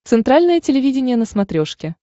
центральное телевидение на смотрешке